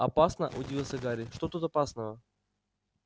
опасно удивился гарри что тут опасного